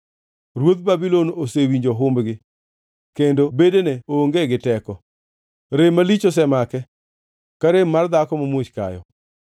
Ruodh Babulon osewinjo humbgi; kendo bedene onge gi teko. Rem malich osemake, ka rem mar dhako mamuoch kayo.